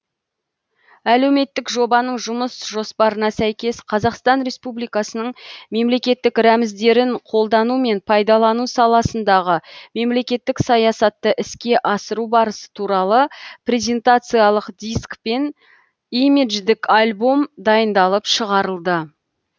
әлеуметтік жобаның жұмыс жоспарына сәйкес қазақстан республикасының мемлекеттік рәміздерін қолдану мен пайдалану саласындағы мемлекеттік саясатты іске асыру барысы туралы презентациялық диск пен имидждік альбом дайындалып шығарылды